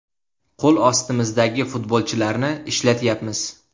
Qo‘l ostimizdagi futbolchilarni ishlatyapmiz.